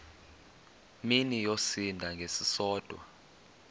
mini yosinda ngesisodwa